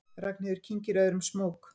Ragnheiður kyngir öðrum smók.